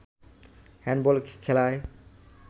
handball খেলায়